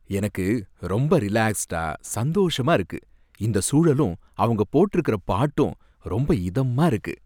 எனக்கு ரொம்ப ரிலாக்ஸ்டா சந்தோஷமா இருக்கு, இந்த சூழலும் அவங்க போட்டிருக்கிற பாட்டும் ரொம்ப இதமா இருக்கு.